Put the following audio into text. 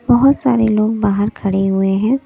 बहुत सारे लोग बाहर खड़े हुए हैं।